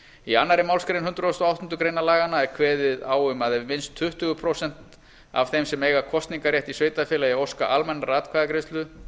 í annarri málsgrein hundrað og áttundu grein laganna er kveðið á um að ef minnst tuttugu prósent af þeim sem eiga kosningarrétt í sveitarfélagi óska almennrar atkvæðagreiðslu